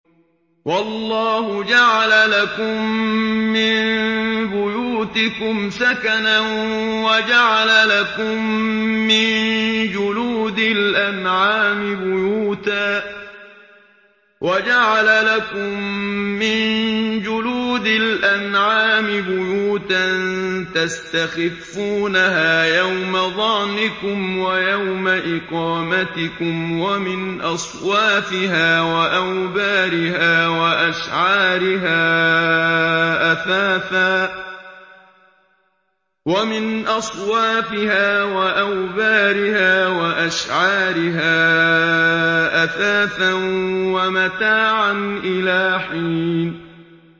وَاللَّهُ جَعَلَ لَكُم مِّن بُيُوتِكُمْ سَكَنًا وَجَعَلَ لَكُم مِّن جُلُودِ الْأَنْعَامِ بُيُوتًا تَسْتَخِفُّونَهَا يَوْمَ ظَعْنِكُمْ وَيَوْمَ إِقَامَتِكُمْ ۙ وَمِنْ أَصْوَافِهَا وَأَوْبَارِهَا وَأَشْعَارِهَا أَثَاثًا وَمَتَاعًا إِلَىٰ حِينٍ